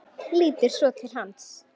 Lítur svo til hans.